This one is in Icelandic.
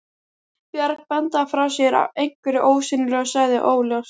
Björg bandaði frá sér einhverju ósýnilegu og sagði: Óljóst.